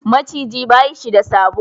Maciji ba shi da sabo.